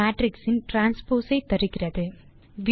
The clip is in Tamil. மேட்ரிக்ஸ் இன் டிரான்ஸ்போஸ் ஐ தருகிறது